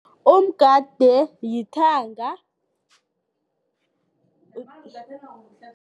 Umgade yithanga